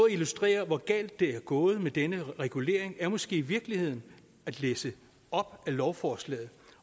illustrere hvor galt det er gået med denne regulering er måske i virkeligheden at læse op af lovforslaget